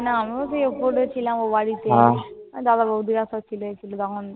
আমিও তো ওপরে ছিলাম, ও বাড়িতে। দাদা, বউদিরা তো ছিলই তখন।